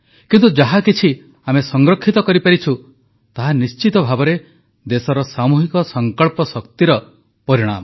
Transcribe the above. କିନ୍ତୁ ଯାହାକିଛି ଆମେ ସଂରକ୍ଷିତ କରିପାରିଛୁ ତାହା ନିଶ୍ଚିତ ଭାବେ ଦେଶର ସାମୁହିକ ସଂକଳ୍ପଶକ୍ତିର ପରିଣାମ